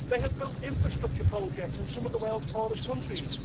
they have built infrastructure projects in some of the world's poorest countries.